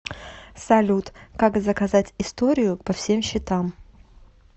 салют как заказать историю по всем счетам